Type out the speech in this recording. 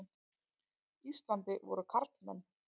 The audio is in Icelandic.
Íslandi voru karlmenn.